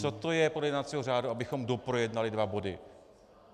Co to je podle jednacího řádu, abychom doprojednali dva body?